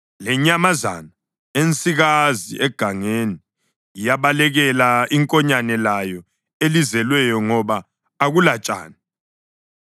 Lenyamazana ensikazi egangeni iyabalekela inkonyane layo elizelweyo ngoba akulatshani.